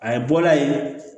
A ye bɔda ye